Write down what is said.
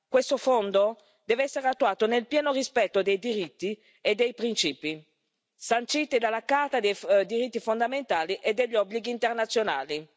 Questo Fondo deve essere attuato nel pieno rispetto dei diritti e dei principi sanciti dalla Carta dei diritti fondamentali e degli obblighi internazionali.